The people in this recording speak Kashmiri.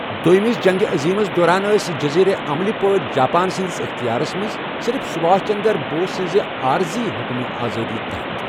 دوٚیِمہِ جنٛگہِ عظیٖمَس دوران ٲس جٔزیرٕ عَملی پٲٹھۍ جاپانہٕ سٕنٛدِس اِختِیارَس منٛز، صرف سبھاش چندر بوس سٕنٛزِ عارزی حکمِ آزاد تحَت۔